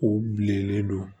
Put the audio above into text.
U bilenlen don